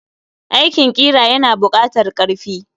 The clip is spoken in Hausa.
Aikin ƙira yana bukatar karfi.